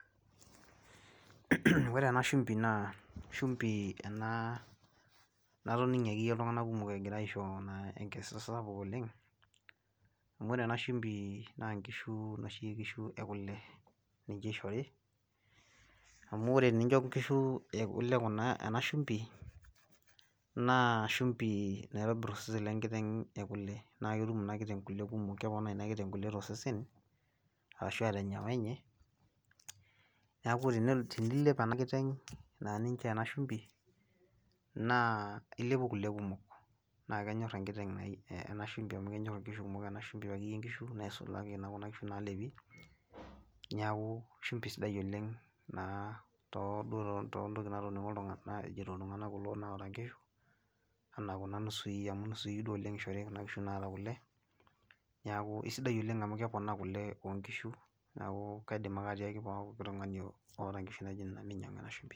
Ore ene shumbi naa shumbi enaa natoning'ie akeiye iltung'ana kumok egira aisho naa enkisisa sapuk oleng', amu ore enashimbii naa nkishu noshi kishu ekole ninche eishori amu tenincho inkishu ekole kuna ena shumbi naa shumbi naitobirr osesen lenkiteng' ekole. Naaketum ina kiteng' kole kumok keponaa ina kiteng' kole tosesen ashuaa tenyawa enye neaku teni tinilep ena kiteng' naa ninchoo ena shumbi naa ilepu kole kumok naakenyorr enkiteng' eh ena shumbi amu kenyorr inkishu kumok ena shumbi akeyie nkishu naisulaki naa kuna kishu naalepi neaku shumbi sidai oleng' naa tooduo tontokitin natoning'o naajito iltung'ana kuloa duo oata nkishu anaa kuna nusui amui nusui duo oleng' eishori kuna kishu naata kole neaku eisidai oleng' amu keponaa kole oonkishu neaku kaidim ake atiaki pooki tung'ani oata nkishu naijo nena meinyang'u ena shumbi.